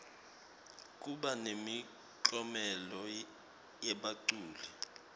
kuba nemiklomelo yebaculi